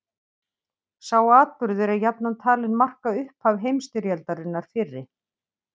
Sá atburður er jafnan talinn marka upphaf heimsstyrjaldarinnar fyrri.